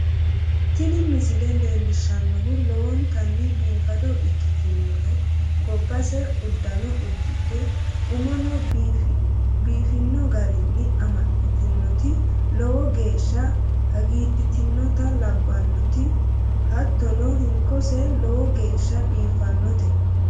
Tini misile leellishshannohu lowontanni biifado ikkitinoi gobbase uddanno uddidhe, umono biifino garinni amaxxitinoti lowo geeshsha hagiidhitinota labbannoti, hattono hinkoseno lowo geeshsha biiffannote.